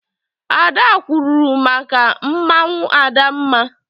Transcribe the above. Ada kwuuru maka mmanwụ Adamma.